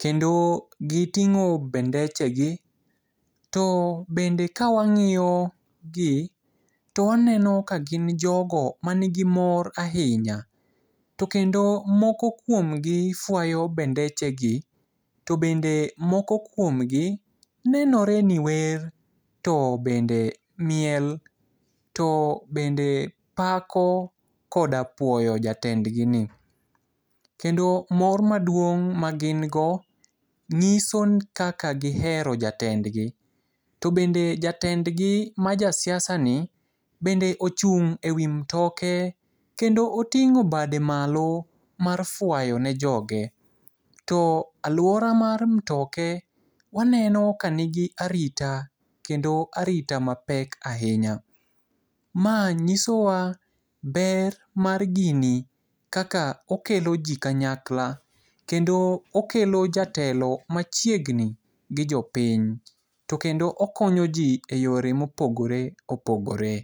Kendo giting'o bendechegi. To bende kawang'iyogi to waneno ka gin jogo manigi mor ahinya. To kendo moko kuomgi fuayo bendechegi, to bende moko kuomgi nenoreni wer, to bende miel, to bende pako koda puoyo jatendgi ni. Kendo mor maduong' magin go ng'iso kaka gihero jatendgi. To bende jatendgi majasiasa ni, bende ochung' e wi mtoke kendo oting'o bade malo, mar fuayo ne joge. To aluora mar mtoke, waneno ka nigi arita. Kendo arita mapek ahinya. Ma ng'isowa ber mar gini kaka okelo ji kanyakla kendo okelo jatelo machiegni gi jopiny. To kendo okonyo ji e yore mopogre opogore.